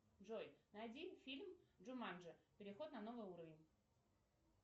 джой найди фильм джуманджи переход на новый уровень